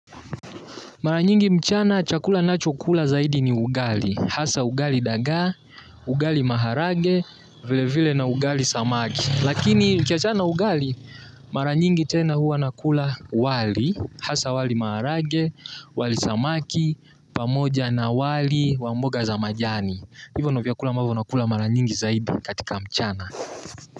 Mara nyingi mchana, chakula nachokula zaidi ni ugali. Hasa ugali dagaa, ugali maharage, vile vile na ugali samaki. Lakini, nikiachana na ugali, mara nyingi tena huwa nakula wali. Hasaa wali maharage, wali samaki, pamoja na wali wamboga za majani. Hivyo ndo vyakula ambavyo nakula mara nyingi zaidi katika mchana.